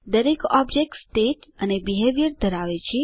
દરેક object state અને behaviour ધરાવે છે